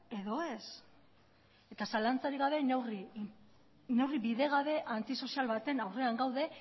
edo ez zalantzarik gabe neurri bidegabe antisozial baten aurrean gaude